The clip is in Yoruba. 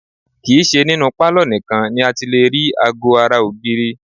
Kì í ṣe ninú pálọ̀ nìkan ni a ti lè rí aago ara ògiri